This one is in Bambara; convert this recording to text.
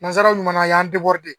Nanzaraw ɲuman na a y'an